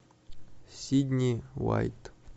сидни уайт